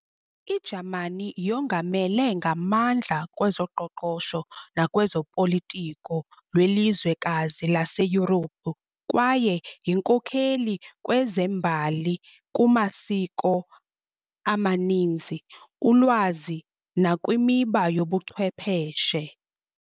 I-Jamani yongamele ngamandla kwezoqoqosho nakwezopolitiko lwelizwekazi laseYurophu kwaye yinkokheli kwezembali kumasiko amaninzi, ulwazi, nakwimiba yobuchwepheshe.